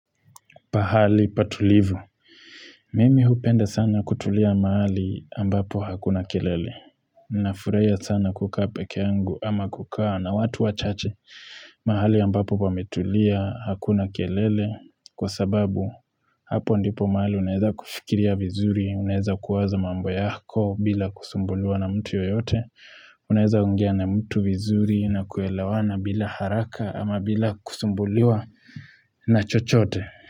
Pahali patulivu, mimi hupenda sana kutulia mahali ambapo hakuna kelele, ninafurahia sana kukaa pekee yangu ama kukaa na watu wachache mahali ambapo pametulia hakuna kelele kwa sababu hapo ndipo mahali unaweza kufikiria vizuri, unaeza kuwaza mambo yako bila kusumbuliwa na mtu yoyote, unaweza ongea na mtu vizuri na kuelewana bila haraka ama bila kusumbuliwa na chochote.